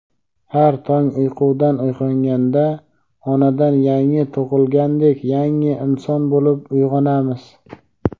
har tong uyqudan uyg‘onganda onadan yangi tug‘ilgandek yangi inson bo‘lib uyg‘onamiz.